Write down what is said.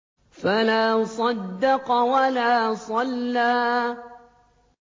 فَلَا صَدَّقَ وَلَا صَلَّىٰ